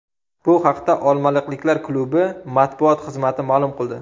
Bu haqda olmaliqliklar klubi matbuot xizmati ma’lum qildi .